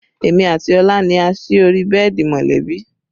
Èmi àti Ọlá ni a sí orí bẹ́ẹ̀dì mọ̀lẹ́bí